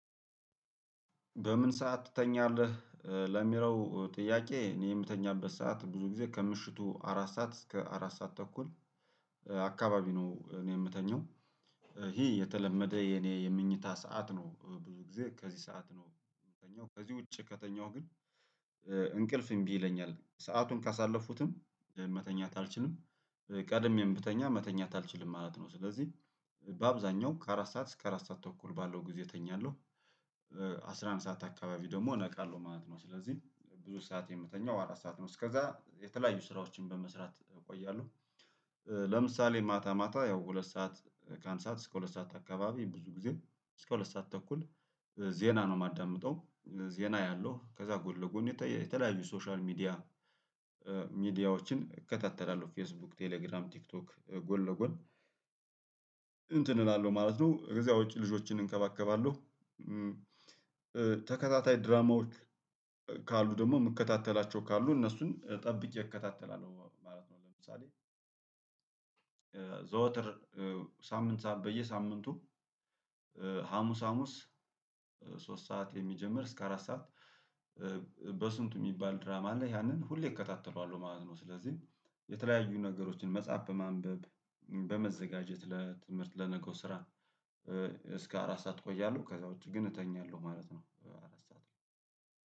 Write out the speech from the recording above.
በምን ሰዓት ትተኛለህ? ለሚለው ጥያቄ እኔ የምተኛበት ሰዓት ብዙ ጊዜ ከምሽቱ አራት ሰዓት እስከ አራት ሰዓት ተኩል አካባቢ ነው። እኔ የምተኛው ይሄ የተለመደ የኔ የምኝታ ሰዓት ነው። ብዙ ጊዜ ከዚህ ሰዓት ነው ከዚህ ውጪ ከተኛሁ ግን እንቅልፍ እምቢ ይለኛል ሰአቱን ካሳለፉትም መተኛት አልችልም። ቀድሜም ብተኛ መተኛት አልችልም ማለት ነው። ስለዚህ በአብዛኛው ከአራት ሰዓት እስከ አራት ሰዓት ተኩል ባለው ጊዜ እተኛለሁ። አስራ አንድ ሰዓት አካባቢ ደግሞ ነቃለሁ ማለት ነው። ስለዚህ ብዙ ሰዓት የምተኛው አራት ሰዓት ነው። እስከዛ የተለያዩ ስራዎችን በመስራት እቆያለሁ። ለምሳሌ ማታ ማታ ያው ሁለት ሰዓት ከአንድ ሰዓት እስከ ሁለት ሰዓት አካባቢ ብዙ ጊዜ እስከ ሁለት ሰዓት ተኩል ዜና ነው የማዳምጠው። ዜና ያለው ከዛ ጎን ለጎን የተ የተለያዩ ሶሻል ሚዲያ ሚዲያዎችን እከታተላለሁ ፌስቡክ ቴሌግራም ቲክቶክ ጎን ለጎን እንትን እላለሁ ማለት ነው። ከዚያ ውጪ ልጆችን እንከባከባለሁ። ተከታታይ ድራማዎች ካሉ ደግሞ የምከታተላቸው ካሉ እነሱን ጠብቄ እከታተላለሁ ማለት ነው። ለምሳሌ ዘወትር ሳምንትሳ በየሳምንቱ ሀሙስ ሀሙስ ሶስት ሰዓት የሚጀምር እስከ አራት ሰዓት በስንቱ የሚባል ድራማ ላይ ያንን ሁሌ እከታተለዋለሁ ማለት ነው። ስለዚህ የተለያዩ ነገሮችን መጸሀፍ በማንበብ በመዘጋጀት ለትምህርት ለነገው ስራ እስከ አራት ሰዓት ቆያለሁ ከዛ ውጪ ግን እተኛለሁ ማለት ነው